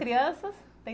Crianças